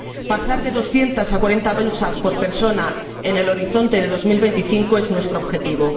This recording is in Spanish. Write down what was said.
Pasar de 200 a 40 bolsas por persona en el horizonte de 2025 es nuestro objetivo.